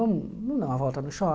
Vamos vamos dar uma volta no